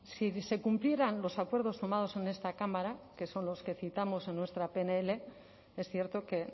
si cumplieran los acuerdos tomados en esta cámara que son los que citamos en nuestra pnl es cierto que